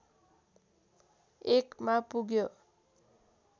१ मा पुग्यो